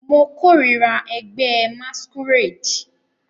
Mo korira ẹgbẹ masquerade